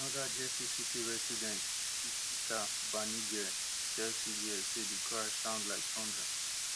anoda jersey city resident ipsitaa banigrhi tell cbs say di crash sound like thunder